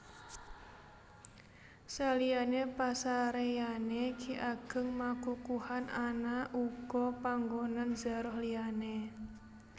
Saliyané pasaréyané Ki Ageng Makukuhan ana uga panggonan zaroh liyané